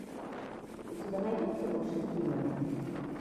у тебя найдется лучшие стримы